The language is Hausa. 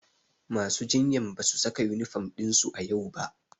Masu jinyan ba su saka yunifom ɗinsu a yau ba.